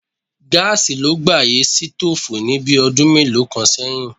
Gáàsì ló gbàyè sítóòfù ní bí ọdún mélòó kan sẹ́yìn.